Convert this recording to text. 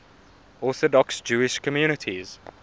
orthodox jewish communities